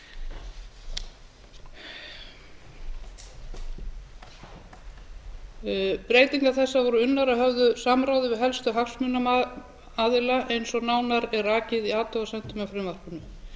í fjörutíu ár breytingar þessar voru unnar að höfðu samráði við helstu hagsmunaaðila eins og nánar er rakið í athugasemdum með frumvarpinu